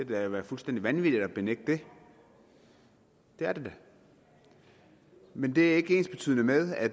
da være fuldstændig vanvittigt at benægte det det er det da men det er ikke ensbetydende med at